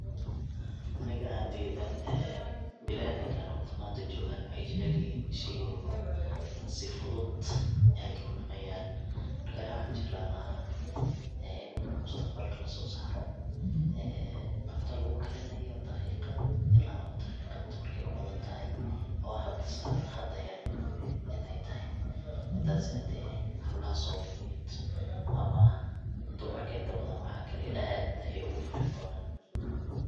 Aniga ahantayda ee biniadamka horta manta joogan waxay jecelyihin shay walba si fudud ay kudhameyan marka aniga waxaan jeclaan laha ee in mustaqbalka lasosaro cunto ee lagukarinayo daqiqad ila labo daqiqad markay u badantahay oo hada sar hada hel inay tahay midasna hade hablaha soomaaliyeed ama dumarka inta badan waxa kariyo aad ayay ogu farxi doonan.